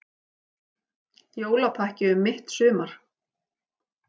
Jólapakki um mitt sumar